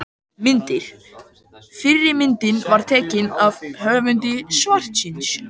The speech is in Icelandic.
Myndir: Fyrri myndin var teiknuð af höfundi svarsins.